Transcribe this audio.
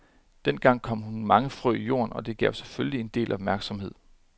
Den gang kom hun mange frø i jorden, og det gav selvfølgelig en del opmærksomhed.